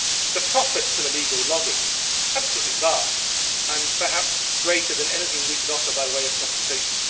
the profits of illegal logging are absolutely vast and perhaps greater than anything we can offer by way of compensation